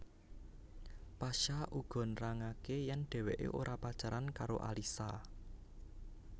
Pasha uga nerangaké yèn dhéwéké ora pacaran karo Alyssa